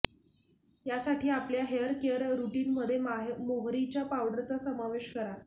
यासाठी आपल्या hair care रुटीनमध्ये मोहरीच्या पावडरचा समावेश करा